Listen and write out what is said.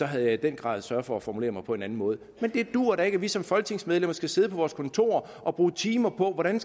havde jeg i den grad sørget for at formulere mig på en anden måde men det duer da ikke at vi som folketingsmedlemmer skal sidde på vores kontorer og bruge timer på hvordan